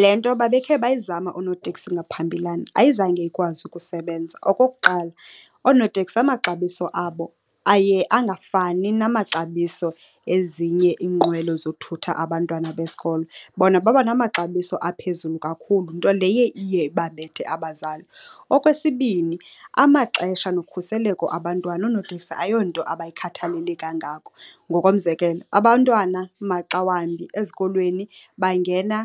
Le nto babekhe bayizama oonoteksi ngaphambilana ayizange ikwazi ukusebenza. Okokuqala, oonoteksi amaxabiso abo aye angafani namaxabiso ezinye iinqwelo zothutha abantwana besikolo. Bona babanamaxabiso aphezulu kakhulu, nto leyo iye ibabethe abazali. Okwesibini, amaxesha nokhuseleko abantwana oonoteksi ayonto abayikhathalele kangako. Ngokomzekelo, abantwana maxa wambi ezikolweni bangena